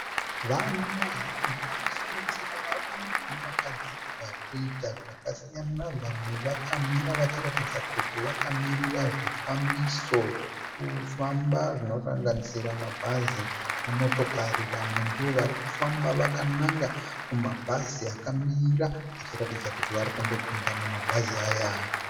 Vanhu vazhinji vanosanganisira varume nevakadzi varikuita zvakasiyana . Vamwe vakamira vachiratidza kuti vakamirira zvifambiso zvekufamba zvinosanganisira mabhazi nemotokari. Vamwe ndovari kufamba vakananga kumabhazi akamira vachiratidza kuti varikunopinda mumabhazi aya.